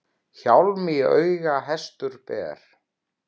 Hjálm í auga hestur ber.